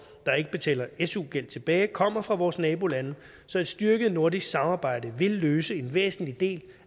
der ikke betaler su gæld tilbage kommer fra vores nabolande så et styrket nordisk samarbejde vil løse en væsentlig del